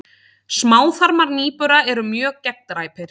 Smáþarmar nýbura eru mjög gegndræpir.